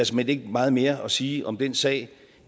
såmænd ikke er meget mere at sige om den sag